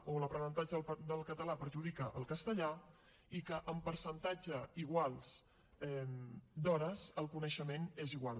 o l’aprenentatge del català perjudica el castellà i que amb percentatges iguals d’hores el coneixement és igual